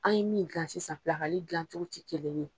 An ɲe min gilan sisan dilan cogo ti kelen ye